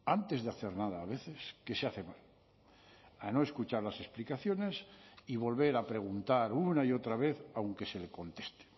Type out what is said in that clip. antes de hacer nada a veces que se hace mal a no escuchar las explicaciones y volver a preguntar una y otra vez aunque se le conteste